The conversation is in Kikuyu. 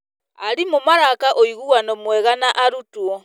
Arimũ maraka ũiguano mwega na arutwo.